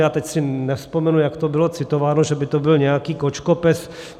já teď si nevzpomenu, jak to bylo citováno, že by to byl nějaký kočkopes.